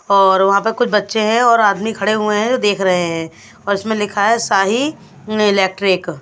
और वहाँ पे कुछ बच्चे हैं और आदमी खड़े हुए हैं जो देख रहे हैं और इसमें लिखा है शाही इलेक्ट्रिक ।